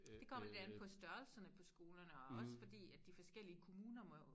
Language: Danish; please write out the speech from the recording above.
Det kommer lidt an på størrelserne på skolerne og også fordi at de forskellige kommuner må jo